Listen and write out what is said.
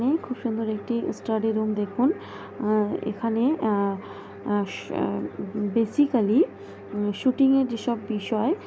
ই খুব সুন্দর একটি স্টাডি রুম দেখুন আহ এখানে আহ আহ আহ বেসিকালি উম শুটিংয়ে যে সব বিষয়।